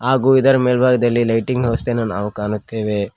ಹಾಗು ಇದರ ಮೆಲ್ಭಾಗದಲ್ಲಿ ಲೈಟಿಂಗ್ ನಾ ವ್ಯವಸ್ಥೆನು ನಾವು ಕಾಣುತ್ತೇವೆ.